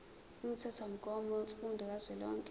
umthethomgomo wemfundo kazwelonke